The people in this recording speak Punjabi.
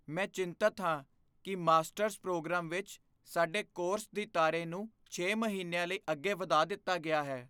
ਮੈਂ ਚਿੰਤਿਤ ਹਾਂ ਕੀ ਮਾਸਟਰਜ਼ ਪ੍ਰੋਗਰਾਮ ਵਿੱਚ ਸਾਡੇ ਕੋਰਸ ਦੀ ਤਾਰੇ ਨੂੰ ਛੇ ਮਹੀਨਿਆਂ ਲਈ ਅੱਗੇ ਵਧਾ ਦਿੱਤਾ ਗਿਆ ਹੈ